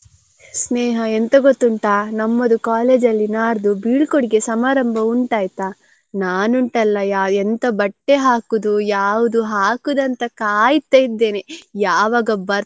ಸ್ನೇಹ ಎಂತ ಗೊತ್ತುಂಟ ನಮ್ಮದು college ನಾಡ್ದು ಬೀಳ್ಕೊಡುಗೆ ಸಮಾರಂಭ ಉಂಟ ಆಯ್ತಾ ನಾನ್ ಉಂಟಲ್ಲ ಎಂತ ಬಟ್ಟೆ ಹಾಕುದು ಯಾವುದು ಹಾಕುದಂತ ಕಾಯ್ತಾ ಇದ್ದೇನೆ.